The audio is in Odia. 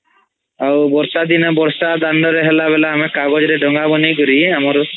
ଆଉ ବର୍ଷା ଦିନ ବର୍ଷା ଦାଣ୍ଡରେ ହେଲା ବେଲା ଆମେ କାଗଜ୍ ରେ ଡ୦ଗା ବନେଇ କରି ଆମର୍'